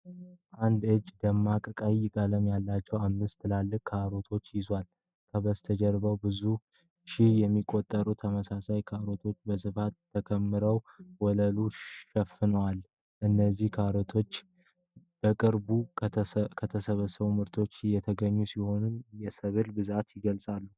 አንድ እጅ ደማቅ ቀይ ቀለም ያላቸውን አምስት ትልልቅ ካሮቶች ይዟል። ከበስተጀርባ ብዙ ሺህ የሚቆጠሩ ተመሳሳይ ካሮቶች በስፋት ተከምረው ወለሉን ሸፍነዋል። እነዚህ ካሮቶች በቅርቡ ከተሰበሰበ ምርት የተገኙ ሲሆን፣ የሰብሉን ብዛት ይገልፃሉ።